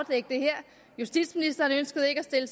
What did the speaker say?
justitsministeren ønskede ikke at stille